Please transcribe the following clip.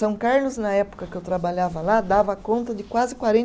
São Carlos, na época que eu trabalhava lá, dava conta de quase